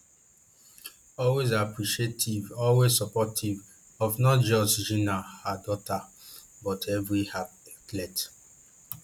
always appreciative always supportive of not just jinna her daughter but every athlete